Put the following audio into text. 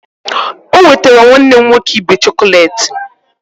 O nwetara nwanne m nwoke ibe chọkọleti